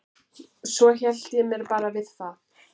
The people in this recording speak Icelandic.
Svo hélt ég mér bara við það.